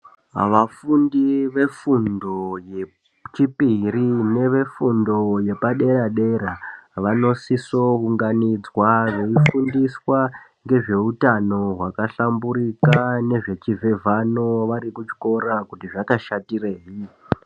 Vafundi vefundo yechipiri nevefundo yepadera-dera. Vanosiso unganidzwa veifundiswa ngezveutano hwakahlamburika nezvechivhevhano vari kuchikora kuti zvakashatireyi.